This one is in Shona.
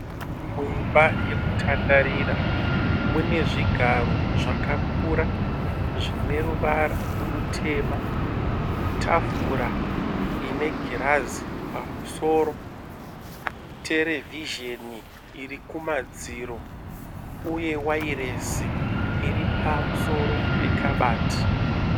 Muimba yekutandarira mune zvigaro zvakakura zvineruvara rutema. Tafura ine girazi pamusoro, terevhizheni iri kumadziro. Uye wairesi iri pamusoro pekabati.